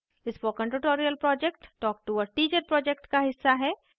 spoken tutorial project talktoa teacher project का हिस्सा है